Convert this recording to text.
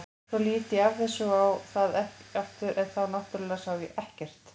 Svo lít ég af þessu og á það aftur en þá náttúrlega sá ég ekkert.